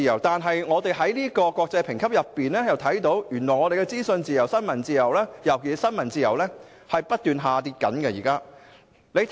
但是，從有關的國際評級可見，香港的資訊自由及尤其是新聞自由，現正不斷下跌。